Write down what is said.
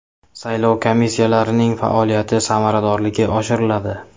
Saylov komissiyalarining faoliyati samaradorligi oshiriladi.